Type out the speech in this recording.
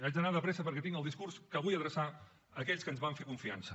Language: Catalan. haig d’anar de pressa perquè tinc el discurs que vull adreçar a aquells que ens van fer confiança